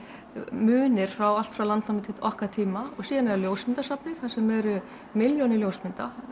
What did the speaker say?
munir frá allt frá landnámi til okkar tíma síðan er það ljósmyndasafnið þar sem eru milljónir ljósmynda